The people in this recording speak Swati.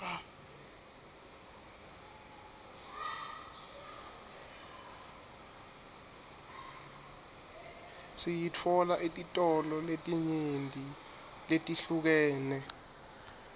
siyitfola etitolo letinyenti letihlukene